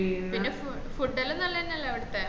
പിന്ന ഫൂ food എല്ലാം നല്ലെന്നല്ലേ അവിടത്ത